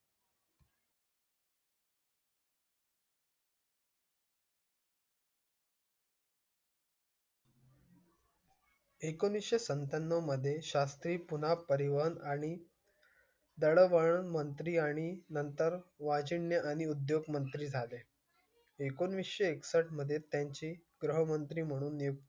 एकोणीसशे सत्त्या ण्णव मध्ये शास्त्री पुन्हा परिवहन आणि. दळणवळण मंत्री आणि नंतर वाजण्या आणि उद्योग मंत्री झाले. एकोणीसशे एकसष्ट मध्ये त्यांची गृहमंत्री म्हणून